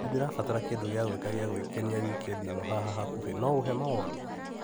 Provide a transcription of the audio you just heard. Nĩndĩrabatara kĩndũ gĩa gwĩka gia gukenia wikendi ĩno haha hakuhĩ no ũhe mawoni.